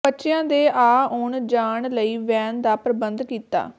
ਬੱਚਿਆਂ ਦੇ ਆ ਉਣ ਜਾਣ ਲਈ ਵੈਨ ਦਾ ਪ੍ਰਬੰਧ ਕੀਤਾ